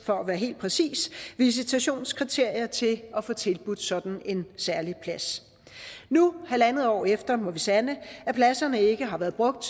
for at være helt præcis seks visitationskriterier til at få tilbudt sådan en særlig plads nu halvandet år efter må vi sande at pladserne ikke har været brugt